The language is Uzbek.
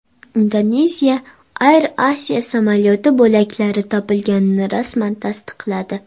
Indoneziya Air Asia samolyoti bo‘laklari topilganini rasman tasdiqladi.